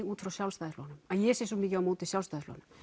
út frá Sjálfstæðisflokknum að ég sé svo mikið á móti Sjálfstæðisflokknum